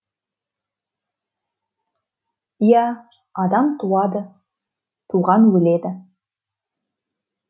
иә адам туады туған өледі